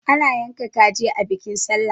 ana yanka kaji a bikin sallah